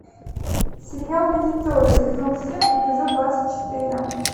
сериал визитеры сезон семь эпизод двадцать четыре